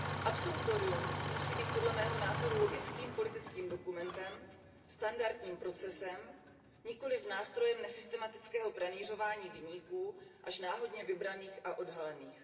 Absolutorium musí být podle mého názoru logickým politickým dokumentem, standardním procesem, nikoliv nástrojem nesystematického pranýřování viníků až náhodně vybraných a odhalených.